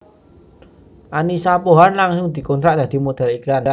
Annisa Pohan langsung dikontrak dadi modhél iklan